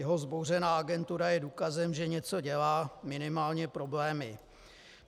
Jeho vzbouřená agentura je důkazem, že něco dělá, minimálně problémy.